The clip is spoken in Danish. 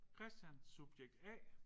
Christian subjekt A